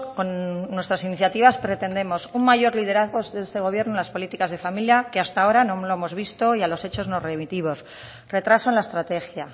con nuestras iniciativas pretendemos un mayor liderazgo de este gobierno en las políticas de familia que hasta ahora no lo hemos visto y a los hechos nos remitimos retraso en la estrategia